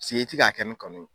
Pisike i tɛ ka kɛ ni kanu ye.